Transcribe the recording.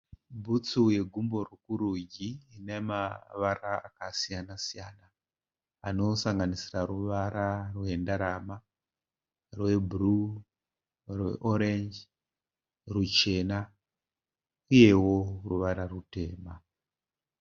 Bhutsu yegumbo rwokurudyi ine mavara akasiyana siyana anosanganisira ruvara rwendarama, rwebhuruu, rweorenji, rwuchena uyewo ruvara rutema.